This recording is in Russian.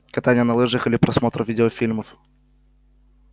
катание на лыжах или просмотр видеофильмов